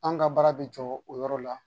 An ka baara bɛ jɔ o yɔrɔ la